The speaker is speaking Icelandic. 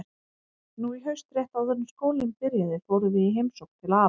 Nú í haust, rétt áður en skólinn byrjaði, fórum við í heimsókn til afa.